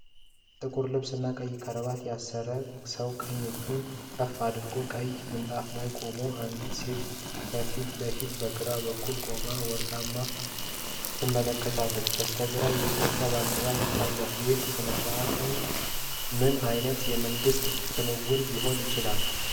ጥቁር ልብስና ቀይ ክራባት ያሰረ ሰው ቀኝ እጁን ከፍ አድርጎ ቀይ ምንጣፍ ላይ ቆሟል። አንዲት ሴት ከፊት ለፊቱ በግራ በኩል ቆማ ወረቀት ትመለከታለች። በስተግራ የኢትዮጵያ ባንዲራ ይታያል። ይህ ሥነ-ሥርዓት ምን ዓይነት የመንግሥት ክንውን ሊሆን ይችላል?